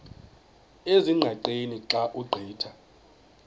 ezingqaqeni xa ugqitha